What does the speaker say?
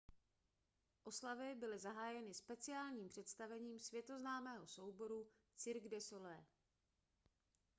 oslavy byly zahájeny speciálním představením světoznámého souboru cirque du soleil